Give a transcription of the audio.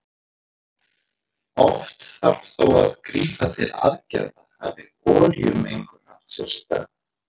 Oft þarf þó að grípa til aðgerða hafi olíumengun átt sér stað.